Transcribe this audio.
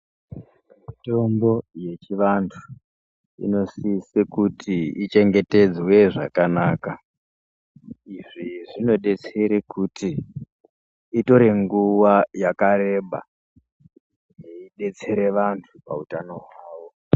Mutombo yechivantu inosise kuti ichengetedzwe zvakanaka izvi zvinodetsere kuti itore nguwa yakareba yeidatsere vantu pautano hwawo.